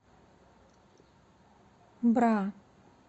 бра